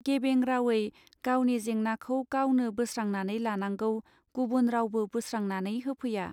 गेबें रावै गावनि जेंनाखौ गावनो बोस्रांनानै लानांगौ गुबुन रावबो बोस्रांनानै होफैया.